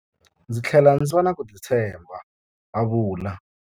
Ndzi tlhele ndzi va na ku titshemba, a vula.